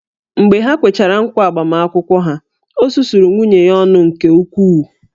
Mgbe ha kwechara ǹkwá agbamakwụkwọ ha, o susuru nwunye ya ọnụ nke ukwuu